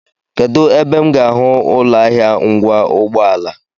Kedụ ebe m ga-ahụ ụlọahịa ngwa ụgbọala?